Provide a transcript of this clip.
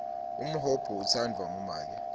umhoba utsandvwa ngumake